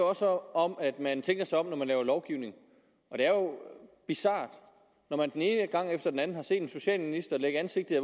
også om at man tænker sig om når man laver lovgivning og det er jo bizart når man den ene gang efter den anden har set en socialminister lægge ansigtet